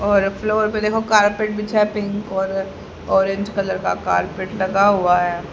और फ्लोर पे देखो कारपेट बिछा है पिंक और ऑरेंज कलर का कारपेट लगा हुआ हैं।